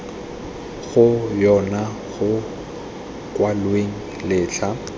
go yona go kwalwang letlha